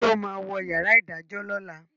ṣe o má wọ yàrá idajọ lọla?